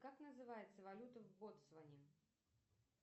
как называется валюта в ботсване